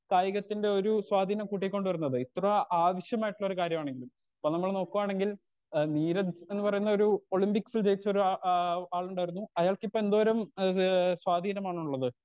Speaker 2 കായികത്തിന്റൊരു സ്വാധീനം കൂട്ടികൊണ്ട് വരുന്നത് ഇപ്പതാ ആവശ്യമായിട്ടുള്ളൊരു കാര്യമാണെങ്കിലും ഇപ്പൊ നമ്മൾ നോക്കുവാണെങ്കിൽ ഏ നീരജ്ന്ന് പറയുന്നൊരു ഒളിമ്പിക്‌സ് വിജയിച്ചൊരു ആ ആ ആളിണ്ടായിരുന്നു അയാൾക്കിപ്പെന്തോരം അത് സ്വാധീനമാണുള്ളത്.